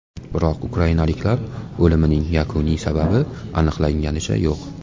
Biroq ukrainaliklar o‘limining yakuniy sababi aniqlanganicha yo‘q.